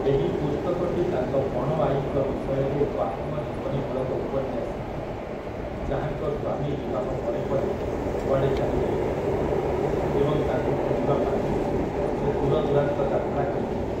ଏହି ପୁସ୍ତକଟି ତାଙ୍କ ପଣଆଈଙ୍କ ବିଷୟରେ ଏକ ଆତ୍ମଜୀବନୀମୂଳକ ଉପନ୍ୟାସିକା, ଯାହାଙ୍କ ସ୍ୱାମୀ ବିବାହ ପରେପରେ କୁଆଡ଼େ ଚାଲିଯାଇଥିଲେ ଏବଂ ତାଙ୍କୁ ଖୋଜିବା ପାଇଁ ସେ ଦୂର ଦୂରାନ୍ତ ଯାତ୍ରା କରିଥିଲେ ।